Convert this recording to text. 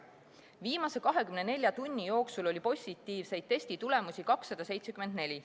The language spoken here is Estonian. Viimase 24 tunni jooksul oli positiivseid testitulemusi 274.